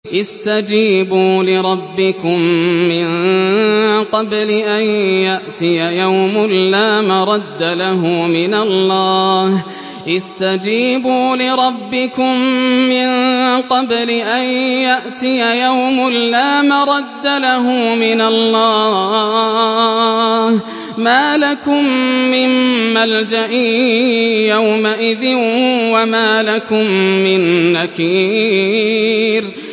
اسْتَجِيبُوا لِرَبِّكُم مِّن قَبْلِ أَن يَأْتِيَ يَوْمٌ لَّا مَرَدَّ لَهُ مِنَ اللَّهِ ۚ مَا لَكُم مِّن مَّلْجَإٍ يَوْمَئِذٍ وَمَا لَكُم مِّن نَّكِيرٍ